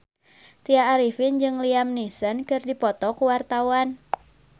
Tya Arifin jeung Liam Neeson keur dipoto ku wartawan